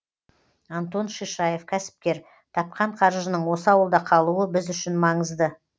антон шишаев кәсіпкер тапқан қаржының осы ауылда қалуы біз үшін маңызды